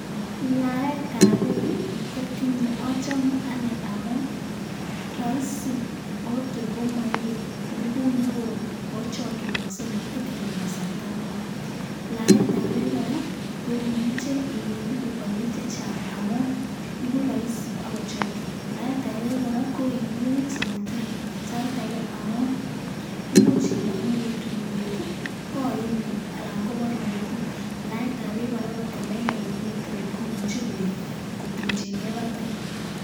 Laetab beek ii kotinye, achame anee amun: roisi, oh tor komoibe ngubut neo, ago chokinogse motekeni kasarta neo. Laetab beek kora koimuche iibu konyil che chang amun iigu roisi ak ichooki. Laetab beek kora ko iimebik sometimes saait age amun imuch ilong'u ole tulwet ii koimin anan koborun metit. Laetab beek kora angot ko meger komye teret komuche beek kotumchin gee batai.